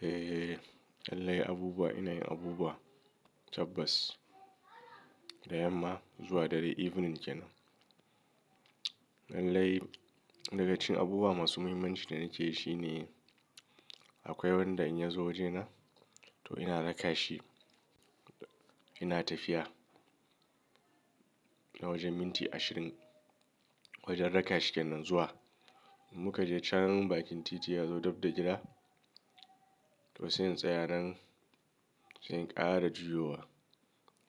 Eh, lallai abubuwa, ina yin abubuwa tabbas, da yamma zuwa dare evening kenan. Lallai daga cikin abubuwa masu muhimmanci da nake yi shine, akwai wanda in ya zo wajena, to ina raka shi ina tafiya, l na wajen minti ashirin, wajen raka shi kenan zuwa. Mu ka je can bakin titi ya zo dab da gida, to sai in tsaya nan, sai in ƙara juyowa,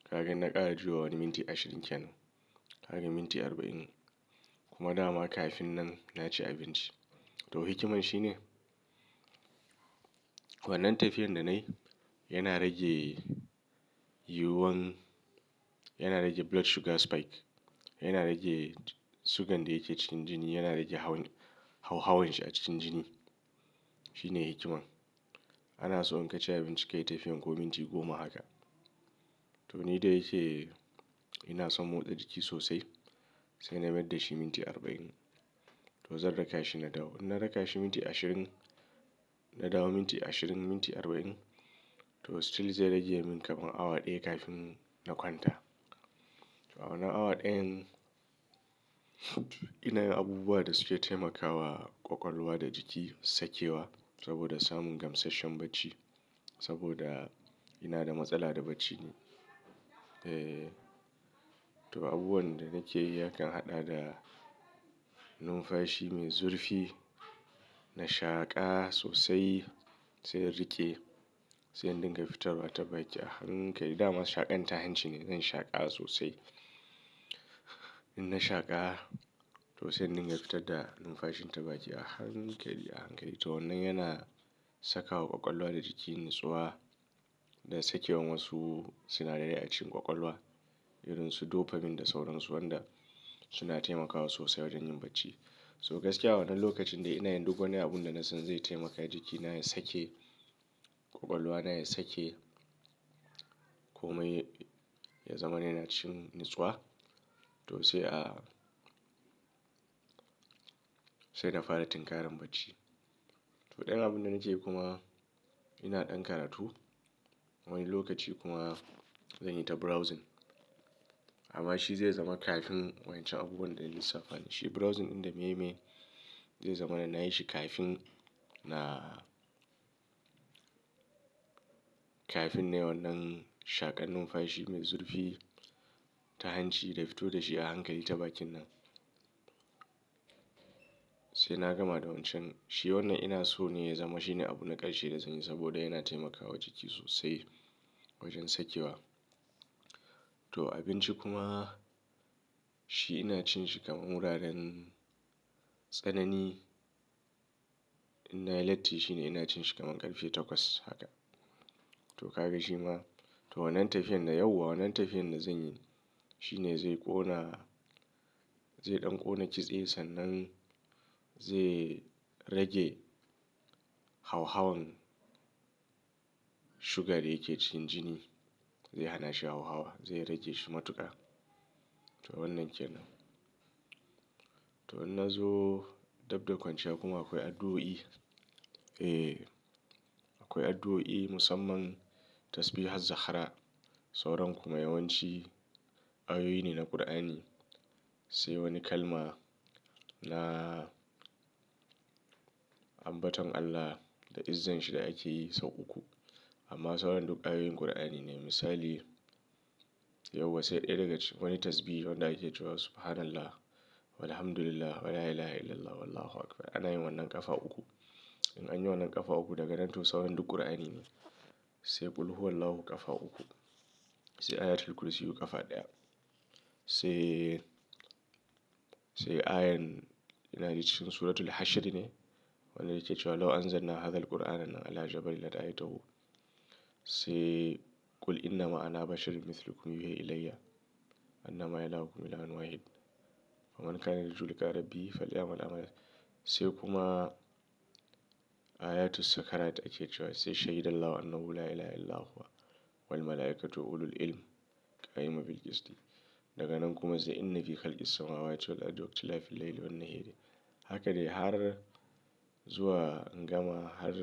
kaga in na ƙara juyowa wani minti ashirin kenan. Ƙarin minti arba'in. Kuma dama kafin nan na ci abinci. To hikiman shi ne, wannan tafiyan da nayi, yana rage yuwuwan, yana rage blood sugar spike, yana rage sugan da yake cikin jini, yana rage hawan, hauhawan shi a cikin jini. Shi ne hikiman. Ana so in ka ci abinci kayi tafiyan ko minti goma haka. To ni da yake ina son motsa jiki sosai, sai na mayar da shi minti arba'in. To zan raka shi na dawo. In na raka shi minti ashirin, na dawo minti ashirin, minti arba'in, to still zai rage min kaman awa ɗaya kafin na kwanta. To a wannan awa dayan ina yin abubuwa da suke taimakawa ƙwaƙwalwa da jiki sakewa, saboda samun gamsasshen bacci, saboda ina da matsala da bacci ne. Eh, to abubuwan da nake yi yakan haɗa da numfashi mai zurfi, na shaƙa sosai sai in riƙe, sai in dinga fitarwa ta baki a hankali. Da ma shaƙan ta hanci ne zan shaƙa sosai. In na shaƙa, to sai in dinga fitar da numfashin ta baki a hankali, a hankali. To wannan yana sakawa ƙwaƙwalwa da jiki nutsuwa, da sakewan wasu sinadarai a cikin ƙwaƙwalwa, irin su dopamine da sauran su, wanda suna taimakawa sosai wajen yin bacci. So gaskiya wannan lokacin dai ina yin duk wani abun da na san zai taimaka jikina ya sake, ƙwaƙwalwa na ya sake, komai ya zamana yana cikin nutsuwa to sai a, sai na fara tinkaran bacci. To ɗayan abunda nake yi kuma, ina ɗan karatu. Wani lokaci kuma zan yi ta browsing, amma shi zai zama kafin wa'incan abubuwan da na lissafa ne. Shi browsing inda meye-meye, zai zama na nayi shi kafin na, kafin nai wannan shaƙan numfashi mai zurfi ta hanci da fito da shi a hankali ta bakin nan sai na gama da wancan. Shi wannan ina so ne ya zama shine abu na ƙarshe da zanyi saboda yana taimakawa jiki sosai wajen sakewa. To abinci kuma shi ina cin shi kaman wuraren tsanani. In na yi latti shine ina cin shi kaman ƙarfe takwas haka. To kaga shi ma to wannan tafiyar da, yau wa wannan tafiyar da zanyi, shine zai ƙona, zai ɗan ƙona kitse, sannan zai rage hauhawan sugar da yake cikin jini. Zai hana shi hauhawa. Zai rage shi matuƙa. To wannan kenan. To in nazo dabb da kwanciya kuma akwai addu'o'i. Eh, akwai addu'o'i musamman tasbihaz-Zahra, sauran kuma yawanci, ayoyi ne na Ƙur'ani. Sai wani kalma na ambaton Allah da izzan shi da akeyi sau uku. Amma sauran duk ayoyin Kur'ani ne. Misali, yau wa sai ɗaya daga cikin wani tasbihi wanda akecewa, "subhanallah, walhamdulillah, wa la ilaha illallah, wallahu akbar". Anayin wannan ƙafa uku. In anyi wannan ƙafa uku daga nan to sauran duk Ƙur'ani ne. Sai "Qul huwallahu" ƙafa uku. Sai "Ayatul Kursi" ƙafa ɗaya. Sai, sai ayan ina jin cikin Suratul Hashr ne, wanda yake cewa "lau anzal na hazal Kur'ana ala jabalin la ra'aitahu" sai "Qul innama ana basharun mislukum yuhe ilayya, annama ilahukum ilahun Wahid". Cewa sai daga nan kuma haka dai har zuwa gama har.